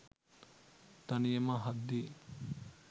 තනියම අහද්දී